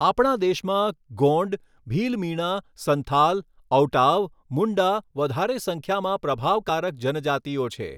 આપણા દેશમાં ગોંડ, ભીલમીણા, સંથાલ ,ઔટાવ, મુન્ડા વધારે સંખ્યામાં પ્રભાવકારક જનજાતિઓ છે.